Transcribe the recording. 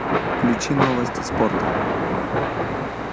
включи новости спорта